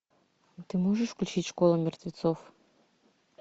а ты можешь включить школа мертвецов